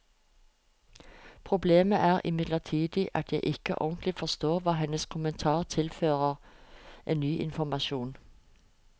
Problemet er imidlertid at jeg ikke ordentlig forstår hva hennes kommentar tilfører av ny informasjon.